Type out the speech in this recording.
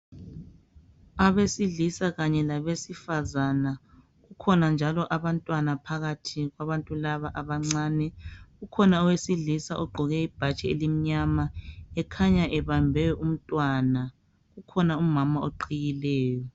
Abesilisa Kanye labesifazana kukhona njalo abantwana phakathi kwabantu laba abancane. Kukhona owesilisa ogqqoke ibhatshi elimnyama ekhanya ebambe umntwana kukhona umama oqhiyileyo.